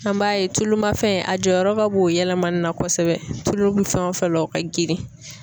An b'a ye tulumafɛn a jɔyɔrɔ ka bon o yɛlɛmani na kosɛbɛ tulu bɛ fɛn o fɛn la o ka girin.